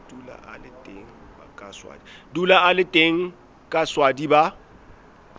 dula a le teng kaswadi ba